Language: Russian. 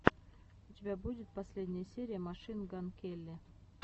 у тебя будет последняя серия машин ган келли